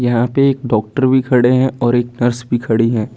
यहां पे एक डॉक्टर भी खड़े हैं और एक नर्स भी खड़ी हैं।